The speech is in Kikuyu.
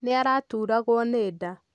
Nĩ araturagwo nĩ nda.